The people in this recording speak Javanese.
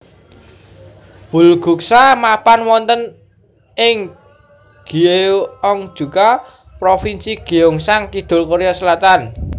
Bulguksa mapan wonten ing Gyeongju Provinsi Gyeongsang Kidul Korea Selatan